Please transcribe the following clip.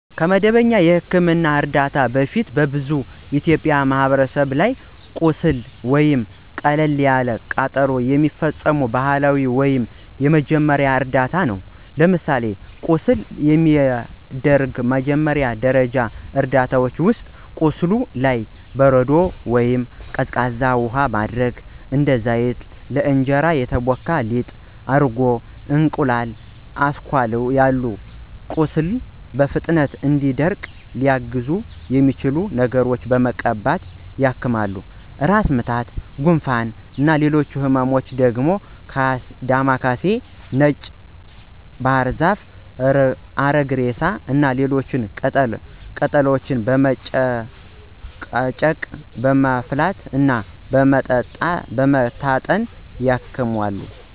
ከመደበኛ የሕክምና እርዳታ በፊት በብዙ የኢትዮጵያ ማህበረሰቦች ላይ ለቁስል ወይም ለቀላል ቃጠሎ የሚፈጸሙ ባህላዊ ወይም የመጀመሪያ እርዳታ ነው። ለምሳሌ ለቁስል የሚደረጉ መጀመሪያ ደረጃ እርዳታዎች ውስጥ፦ ቁስሉ ላይ በረዶ ወይንም ቀዝቃዛ ውሃ ማድረግ፣ እንደ ዘይት፣ ለእንጀራ የተቦካ ሊጥ፣ እርጎ፣ የእንቁላል አስኳል ያሉ ቁስሉ በፍጥነት እንዲደርቅ ሊያግዙት የሚችሉ ነገሮችን በመቀባት ያክማሉ። ራስ ምታት፣ ጉንፋን እና ሌሎች ህመሞችም ዳማ ካሴ፣ ነጭ ባህርዛፍ፣ አሪግሬሳ እና ሌሎች ቅጠላ ቅጠሎችን በመጨቅጨቅ፣ በማፍላት እና በመታጠን ያክማሉ።